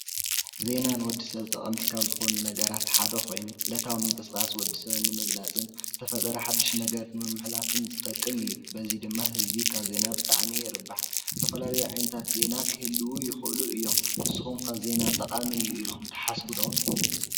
ዜና ንወዲሰብ ጠቀምቲ ካብ ዝኮኑ ነገራት ሓደ ኮይኑ ዕለታዊ ምቅስቃስ ወዲሰብ ንምቅላፅን ዝተፈጠረ ሓዱሽ ነገር ንምሕላፍን ዝጠቅም እዩ፡፡ በዚ ድማ ህዝቢ ካብ ዜና ብጣዕሚ ይርባሕ፣ ዝተፈላለዩ ዓይነታት ዜና ክህልው ይክእሉ እዮም፡፡ ንስኩም ከ ዜና ጠቃሚ እዩ ኢልኩም ትሓስቡ ዶ?